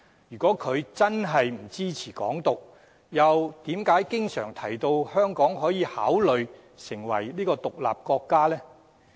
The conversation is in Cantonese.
如果他真的不支持"港獨"，又為何經常提到香港可以考慮成立獨立國家呢？